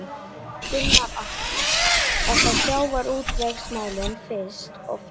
Gunnar Atli: Var það sjávarútvegsmálin fyrst og fremst?